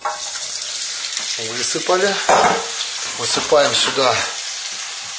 высыпали высыпаем сюда